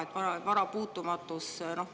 No jaa, vara puutumatus …